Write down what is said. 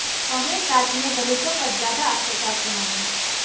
कांग्रेस राज में दलितों पर ज्यादा अत्याचार के मामले